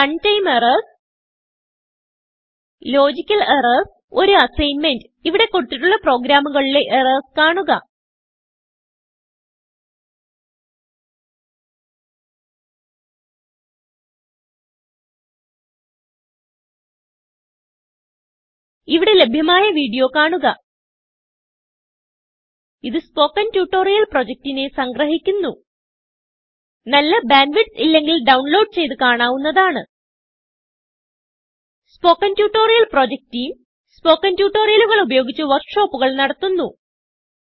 run time errors logical errors ഒരു assignment ഇവിടെ കൊടുത്തിട്ടുള്ള പ്രോഗ്രാമുകളിലെ errorsകാണുക ഇവിടെ ലഭ്യമായ വീഡിയോ കാണുക ഇതു സ്പോകെൻ ട്യൂട്ടോറിയൽ പ്രൊജക്റ്റിനെ സംഗ്രഹിക്കുന്നു നല്ല ബാൻഡ് വിഡ്ത്ത് ഇല്ലെങ്കിൽ ഡൌൺലോഡ് ചെയ്ത് കാണാവുന്നതാണ് spoken tutorial project team spoken ട്യൂട്ടോറിയലുകൾ ഉപയോഗിച്ച് വർക്ക് ഷോപ്പുകൾ നടത്തുന്നു